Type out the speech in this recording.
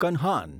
Kanhan